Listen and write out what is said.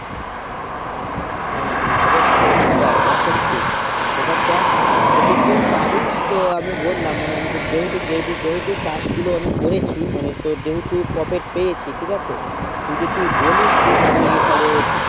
হেঁ হেঁ অবসয়ে ওটাই একদম ঠিক এইবার দেখ যদি তুই পারিস তো আমি বললাম মানে আমি যেও তো যেই যেও তো চাষ গুলু আমি করেছি মানে তোর যেও টু profit পেয়েছি ঠিক আছে তুই যে ঠিক বলিস আমি তো তালে